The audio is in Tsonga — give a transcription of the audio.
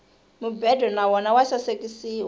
mubedo na wona wa sasekisiwa